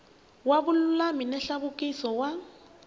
wa vululami na nhluvukiso wa